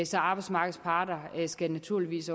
så arbejdsmarkedets parter skal naturligvis